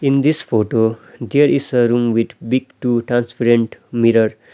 in this photo there is a room with big two transparent mirror.